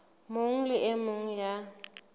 mong le e mong ya